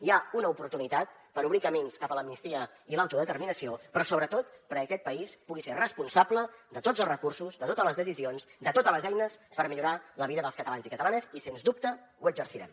hi ha una oportunitat per obrir camins cap a l’amnistia i l’autodeterminació però sobretot perquè aquest país pugui ser responsable de tots els recursos de totes les decisions de totes les eines per millorar la vida dels catalans i catalanes i sens dubte ho exercirem